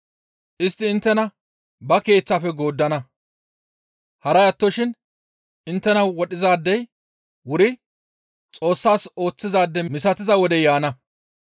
Istti inttena ba keeththafe gooddana; haray attoshin inttena wodhizaadey wuri Xoossas ooththizaade misatiza wodey yaana.